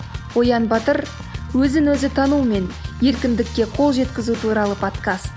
оян батыр өзін өзі танумен еркіндікке қол жеткізу туралы подкаст